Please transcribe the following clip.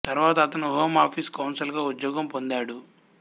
తరువాత అతను home office counsel గా ఉద్యోగం పొందాడు